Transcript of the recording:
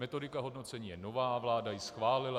Metodika hodnocení je nová, vláda ji schválila.